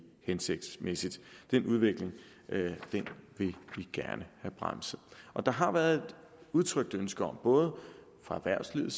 hensigtsmæssigt den udvikling vil vi gerne have bremset der har været et udtrykt ønske om både fra erhvervslivet